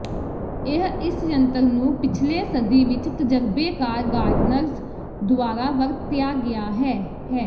ਇਹ ਇਸ ਜੰਤਰ ਨੂੰ ਪਿਛਲੇ ਸਦੀ ਵਿਚ ਤਜਰਬੇਕਾਰ ਗਾਰਡਨਰਜ਼ ਦੁਆਰਾ ਵਰਤਿਆ ਗਿਆ ਹੈ ਹੈ